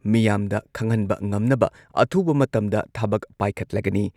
ꯃꯤꯌꯥꯝꯗ ꯈꯪꯍꯟꯕ ꯉꯝꯅꯕ ꯑꯊꯨꯕ ꯃꯇꯝꯗ ꯊꯕꯛ ꯄꯥꯏꯈꯠꯂꯒꯅꯤ ꯫